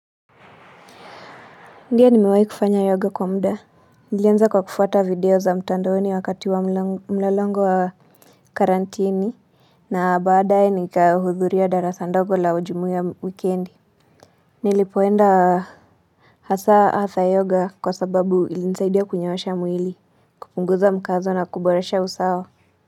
Ndio nimewai kufanya yoga kwa mda. Nilianza kwa kufuata video za mtandoni wakati wa mlolongo wa karantini. Na baadae nikahudhuria darasa ndogo la ujumuia wikendi. Nilipoenda hasa hatha yoga kwa sababu ilinisaidia kunyoosha mwili. Kupunguza mkazo na kuboresha usawa.